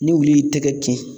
Ni wulu y'i tɛgɛ kin